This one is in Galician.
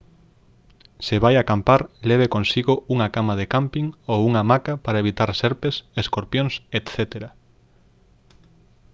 se vai acampar leve consigo unha cama de cámping ou unha hamaca para evitar serpes escorpións etc